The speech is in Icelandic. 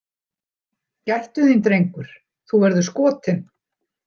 Gættu þín, drengur, þú verður skotinn.